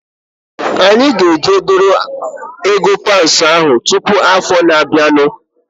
Anyị ga-eje dọrọ ego paunds ahu tụpụ afọ na-abianu